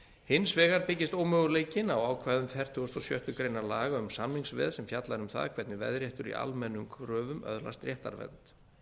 hins vegar byggist ómöguleikinn á ákvæðum fertugasta og sjöttu grein laga um samningsveð sem fjallar um það hvernig veðréttur í almennum kröfum öðlast réttarvernd